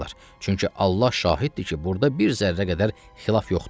Çünki Allah şahiddir ki, burada bir zərrə qədər xilaf yoxdur.